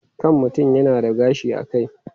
Kan mutum yana da gashi a kai.